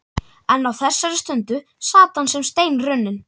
En á þessari stundu sat hann sem steinrunninn.